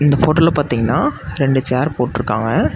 இந்த போட்டோல பாத்திங்கன்னா ரெண்டு சேர் போட்ருக்காங்க.